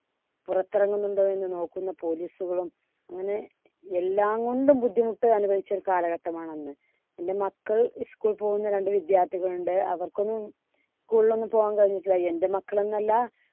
പുറത്തിറങ്ങുന്നുണ്ടോ എന്ന് നോക്കുന്ന police കളും അങ്ങനെ എല്ലാംകൊണ്ടും ബുദ്ധിമുട്ട് അനുഭവിച്ച ഒരു കാലഘട്ടമാണ് അന്ന്. എൻടെ മക്കൾ school ൽ പോകുന്ന രണ്ട് വിദ്യാർത്ഥികൾ ഉണ്ട് അവർക്കൊന്നും school ൽ ഒന്നും പോകാൻ കഴിഞ്ഞിട്ടില്ല. എൻടെ മക്കൾ എന്നല്ല